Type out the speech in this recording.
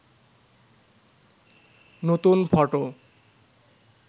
নতুন ফটো